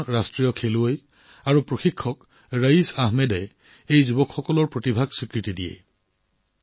প্ৰাক্তন ৰাষ্ট্ৰীয় খেলুৱৈ তথা প্ৰশিক্ষক ৰাইছ আহমেদে এই যুৱকযুৱতীসকলৰ প্ৰতিভাক স্বীকৃতি দিছিল